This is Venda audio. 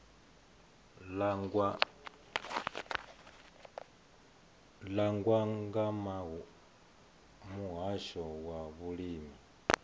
langwa nga muhasho wa vhulimi